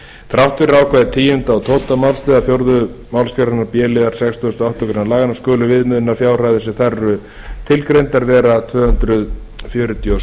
þrátt fyrir ákvæði tíundu og tólfta málsl fjórðu málsgrein b liðar sextugustu og áttundu grein laganna skulu viðmiðunarfjárhæðir sem þar eru tilgreindar vera tvö hundruð fjörutíu og sex